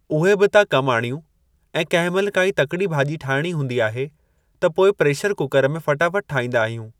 उहे बि था कमु आणियूं ऐं कंहिं महिल काई तकड़ी भाॼी ठाइणी हूंदी आहे त पोइ प्रेशर कूकरु में फ़टाफ़ट ठाहिंदा आहियूं ।